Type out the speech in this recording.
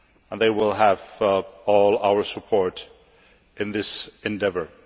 They will have all our support in this endeavour.